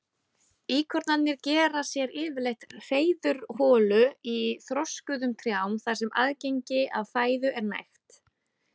Íkornarnir gera sér yfirleitt hreiðurholur í þroskuðum trjám þar sem aðgengi að fæðu er nægt.